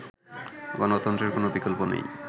গণতন্ত্রের কোন বিকল্প নেই